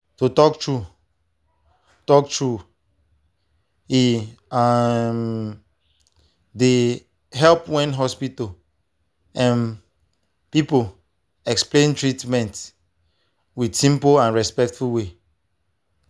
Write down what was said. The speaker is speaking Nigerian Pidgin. to talk true talk true e um dey help when hospital um people explain treatment with simple and respectful way.